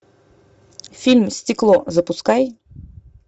фильм стекло запускай